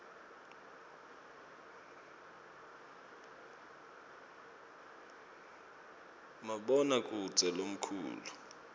maboha kudze lomkhalu